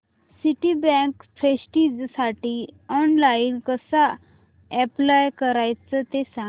Citibank प्रेस्टिजसाठी online कसं apply करायचं ते सांग